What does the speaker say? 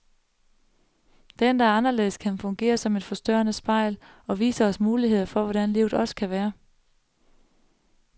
Den, der er anderledes, kan fungere som et forstørrende spejl, og vise os muligheder for hvordan livet også kan være.